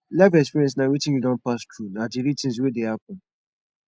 life experience na wetin you don pass through na di real things wey dey happen